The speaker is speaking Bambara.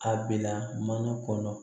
A bila mana kɔnɔ